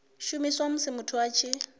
shumiswa musi muthu a tshi